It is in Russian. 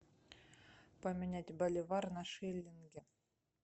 поменять боливар на шиллинги